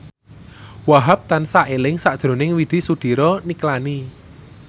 Wahhab tansah eling sakjroning Widy Soediro Nichlany